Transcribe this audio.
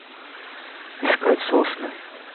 искать сосны